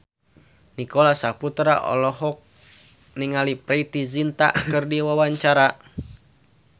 Nicholas Saputra olohok ningali Preity Zinta keur diwawancara